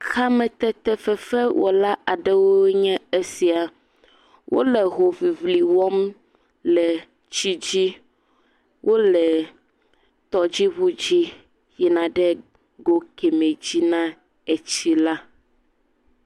Kametetefefewɔla aɖewoe nye esia. Wole hoŋiŋli wɔm le tsidzi. Wole tɔdziŋudzi yina ɖe go kemɛ dzi na etsila.